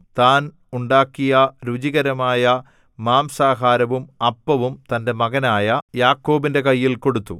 താൻ ഉണ്ടാക്കിയ രുചികരമായ മാംസാഹാരവും അപ്പവും തന്‍റെ മകനായ യാക്കോബിന്റെ കയ്യിൽ കൊടുത്തു